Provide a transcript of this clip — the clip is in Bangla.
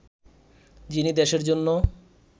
যিনি দেশের জন্য